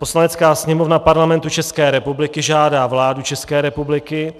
Poslanecká sněmovna Parlamentu České republiky žádá vládu České republiky,